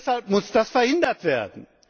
Deshalb muss das verhindert werden.